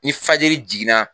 Ni fajiri jiginna